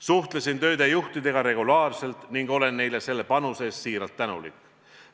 Suhtlesin tööde juhtidega regulaarselt ning olen neile selle panuse eest siiralt tänulik.